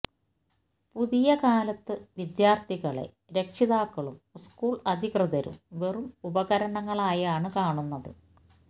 പുതിയ കാലത്തു വിദ്യാര്ഥികളെ രക്ഷിതാക്കളും സ്കൂള് അധികൃതരും വെറും ഉപകരണങ്ങളായാണ് കാണുന്നത്